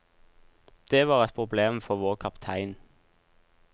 Det var et problem for vår kaptein.